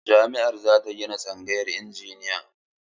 Jami'ar za ta gina tsangayar injiniya.